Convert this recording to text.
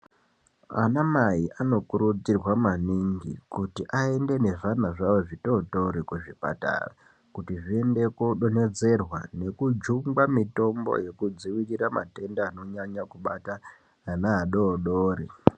Anamai anokurudzirwa maningi kuti aende nezvana zvawo zvitootori kuzvipatara kuti zviende kodonhedzerwa nekujungwa mitombo yekudldziirira matenda anonyanya kubata ana adoodori.